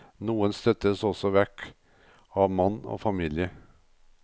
Noen støttes også vekk av mann og familie.